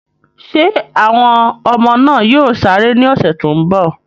Ṣé àwọn ọmọ náà yóò sáré ní ọ̀sẹ̀ tó ń bọ̀?